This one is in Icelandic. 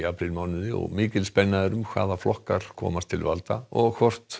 mánuð og mikil spenna er um hvaða flokkar komast til valda og hvort